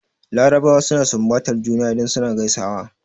Larabawa suna sunbatar juna idan suna gaisuwa.